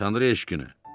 Tanrı eşqinə.